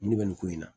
Nin ne bɛ nin ko in na